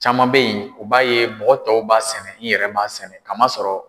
Caman bɛ yen u b'a ye mɔgɔ tɔw b'a sɛnɛ n yɛrɛ b'a sɛnɛ kamasɔrɔ